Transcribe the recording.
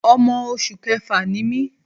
Ọmọ oṣù kẹfà ni mí.